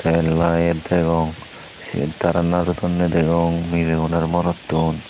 tey light degong sey tara najodonney degong meleun aro morotun.